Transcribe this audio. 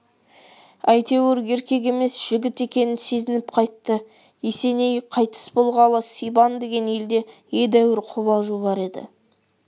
әйтеуір еркек емес жігіт екенін сезініп қайтты есеней қайтыс болғалы сибан деген елде едәуір қобалжу бар еді